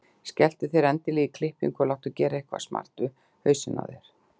Skelltu þér endilega í klippingu og láttu gera eitthvað smart við hausinn á þér.